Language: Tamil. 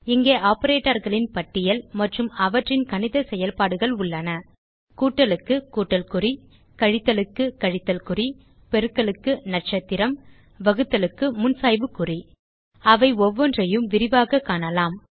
இங்கே operatorகளின் பட்டியல் மற்றும் அவற்றின் கணித செயல்பாடுகள் உள்ளன கூட்டலுக்கு கூட்டல் குறி கழித்தலுக்கு கழித்தல் குறி பெருக்கலுக்கு நட்சத்திரம் வகுத்தலுக்கு முன்சாய்வு குறி அவை ஒவ்வொன்றையும் விரிவாக காணலாம்